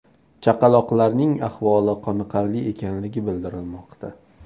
Chaqaloqlarning ahvoli qoniqarli ekanligi bildirilmoqda.